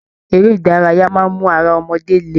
Eré ìdárayá máa n mú ará ọmọdé lè.